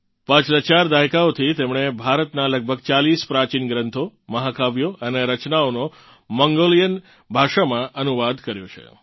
પાછલાં ચાર દાયકાઓથી તેમણે ભારતનાં લગભગ 40 પ્રાચીન ગ્રંથો મહાકાવ્યો અને રચનાઓનો મંગોલિયન ભાષામાં અનુવાદ કર્યો છે